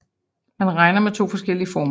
Man regner med 2 forskellige former